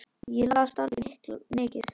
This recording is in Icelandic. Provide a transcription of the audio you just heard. Ég las dálítið mikið.